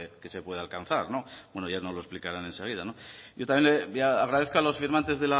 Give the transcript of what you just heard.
que se puede alcanzar bueno ya nos lo explicarán enseguida no yo también agradezco a los firmantes